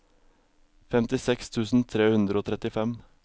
femtiseks tusen tre hundre og trettifem